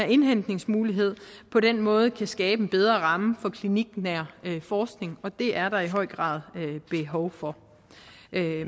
indhentningsmuligheden på den måde kan skabe en bedre ramme for en kliniknær forskning og det er der i høj grad behov for